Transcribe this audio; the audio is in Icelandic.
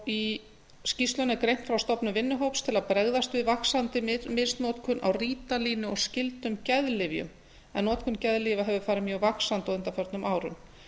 í skýrslunni er greint frá stofnun vinnuhóps til að bregðast við vaxandi misnotkun á rítalíni og skyldum geðlyfjum en notkun geðlyfja hefur farið mjög vaxandi á undanförnum árum